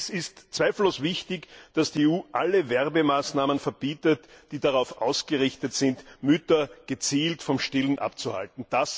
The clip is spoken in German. Indes ist zweifellos wichtig, dass die EU alle Werbemaßnahmen verbietet, die darauf ausgerichtet sind, Mütter gezielt vom Stillen abzuhalten.